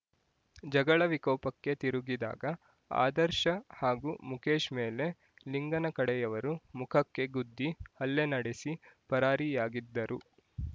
ಜಗಳ ವಿಕೋಪಕ್ಕೆ ತಿರುಗಿದಾಗ ಆದರ್ಶ ಹಾಗೂ ಮುಕೇಶ್ ಮೇಲೆ ಲಿಂಗನ ಕಡೆಯವರು ಮುಖಕ್ಕೆ ಗುದ್ದಿ ಹಲ್ಲೆ ನಡೆಸಿ ಪರಾರಿಯಾಗಿದ್ದರು